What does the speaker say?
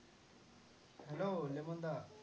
hello Lemon the.